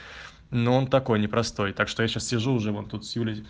но он такой непростой так что я сейчас сижу уже вон тут с юлей